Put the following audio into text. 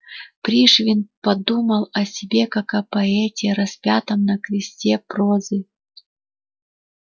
пришвин думал о себе как о поэте распятом на кресте прозы